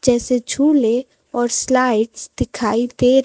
जैसे झूले और स्लाइड्स दिखाई दे--